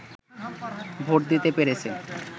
vote দিতে পেরেছে